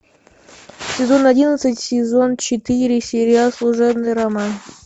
сезон одиннадцать сезон четыре сериал служебный роман